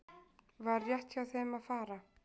Var rétt hjá þeim að fara?